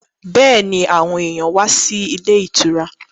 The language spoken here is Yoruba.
Bẹ́ẹ̀ni, àwọn èyàn wá sí ilé ìtura.